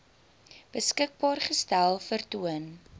beskikbaar gestel vertoon